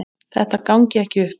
Þetta gangi ekki upp.